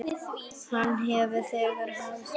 Hann hefur þegar hafið störf.